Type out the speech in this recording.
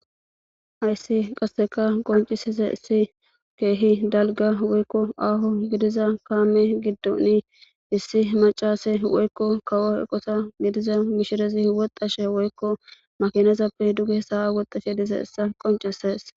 Ayssi qasseka qoncisiza issi keehi dalga woykko aaho gidiza kaame giddoni issi macase woykko kawo eqosa gidiza mishirezi woxxashe woykko makinezappe duge sawa woxxashe dize issa qoncises